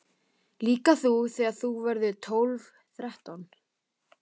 Líka þú þegar þú verður tólf, þrettán.